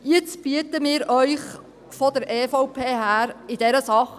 Jetzt bieten wir Ihnen vonseiten der EVP einen Kompromiss in dieser Sache: